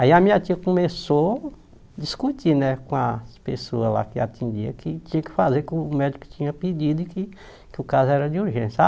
Aí a minha tia começou a discutir né com as pessoas lá que atendiam, que tinha que fazer, que o médico tinha pedido e que que o caso era de urgência.